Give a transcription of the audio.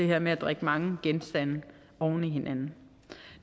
her med at drikke mange genstande oven i hinanden